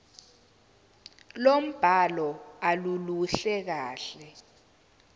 lombhalo aluluhle kahle